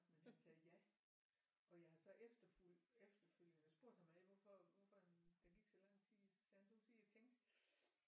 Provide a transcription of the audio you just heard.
Men han sagde ja og jeg har så efterfølgende spurgt ham hvorfor hvorfor der gik så lang tid så sagde han det var fordi jeg tænkte